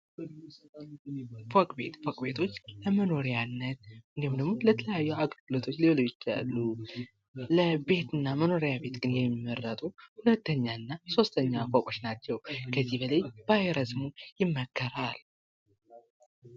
ፎቅ ቤት ፎቅ ቤቶች ለመኖሪያነት እንዲሁም ደግም ለተለያዩ አገልግሎቶች ሊውሉ ይችላሉ። ለቤትና መኖሪያ ቤት ግን የሚመረጡ ሁለተኛ እና ሦስተኛ ፎቆች ናቸው። ከዚህ በላይ ባይረዝሙ ይመከራል።